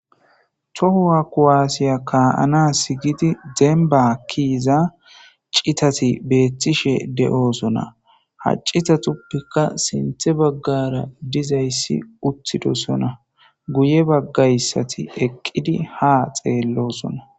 tohowa kuwaasiya kaa7ana sigiti dembakiiza citati beettishe de7oosona haccitatuppikka sinthe baggara dizayssi uttidosona guye baggayssati eqqidi ha xeellosona